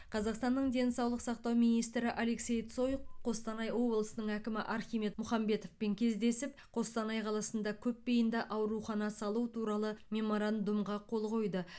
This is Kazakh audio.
қазақстанның денсаулық сақтау министрі алексей цой қостанай облысының әкімі архимед мұхамбетовпен кездесіп қостанай қаласында көпбейінді аурухана салу туралы меморандумға қол қойды